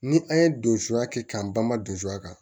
Ni an ye don suya kɛ k'an banban don suya kan